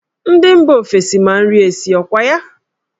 Ndị mba ofesi ma nri esi, ọ kwa ya?